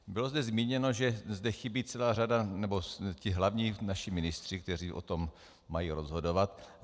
Bylo zde zmíněno, že zde chybí celá řada, nebo ti hlavní naši ministři, kteří o tom mají rozhodovat.